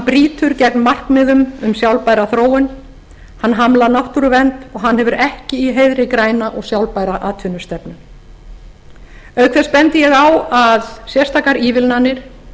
brýtur gegn markmiðum um sjálfbæra þróun hann hamlar náttúruvernd og hann hefur ekki í heiðri græna og sjálfbæra atvinnustefnu auk þess bendi ég á að sérstakar ívilnanir